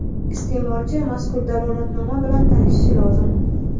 Isteʼmolchi mazkur dalolatnoma bilan tanishishi lozim.